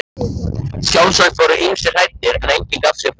Sjálfsagt voru ýmsir hræddir, en enginn gaf sig fram.